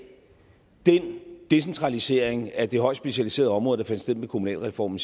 den decentralisering af det højt specialiserede område der fandt sted med kommunalreformen